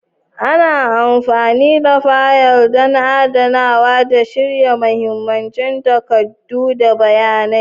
Ana amfani da fayil don adanawa da shirya mahimman takardu da bayanai.